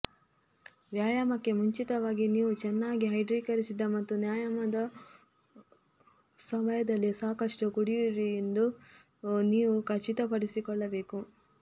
ವ್ಯಾಯಾಮಕ್ಕೆ ಮುಂಚಿತವಾಗಿ ನೀವು ಚೆನ್ನಾಗಿ ಹೈಡ್ರೀಕರಿಸಿದ ಮತ್ತು ವ್ಯಾಯಾಮದ ಸಮಯದಲ್ಲಿ ಸಾಕಷ್ಟು ಕುಡಿಯುವಿರಿ ಎಂದು ನೀವು ಖಚಿತಪಡಿಸಿಕೊಳ್ಳಬೇಕು